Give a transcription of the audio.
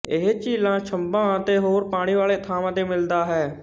ਇਹ ਝੀਲਾਂ ਛੰਭਾਂ ਅਤੇ ਹੋਰ ਪਾਣੀ ਵਾਲੇ ਥਾਂਵਾਂ ਤੇ ਮਿਲਦਾ ਹੈ